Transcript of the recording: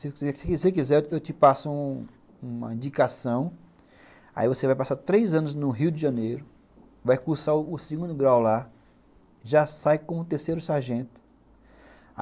Se você quiser eu te passo uma indicação, aí você vai passar três anos no Rio de Janeiro, vai cursar o segundo grau lá, já sai com o terceiro sargento.